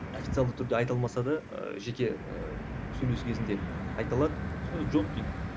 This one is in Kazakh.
официалды түрде айта алмаса да ыыы жеке ыыы сөйлесу кезінде айта алады осындай жоқ дейді